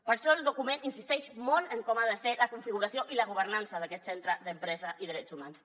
per això el document insisteix molt en com ha de ser la configuració i la governança d’aquest centre d’empresa i drets humans